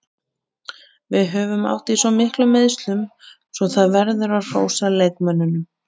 Við höfum átt í miklum meiðslum svo það verður að hrósa leikmönnunum.